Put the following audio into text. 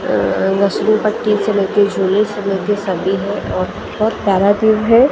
अ अ अ मुस्लिम पट्टी से लेके से लेके सर्दी है और बहुत प्यारा व्यू है अ--